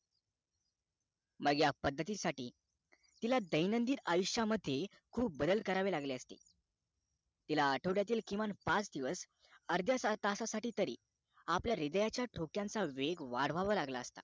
पण ह्या पद्धती साठी तिला दैनंदिन आयुष्यामध्ये खूप बदल करावे लागले असते तिला आठवड्यातील किमान पाच दिवस अर्ध्या तसा साठी तरी आपल्या हृदयाच्या ठोक्यांचा वेग वाढवावं लागला असता